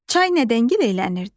Çay nədən giləylənirdi?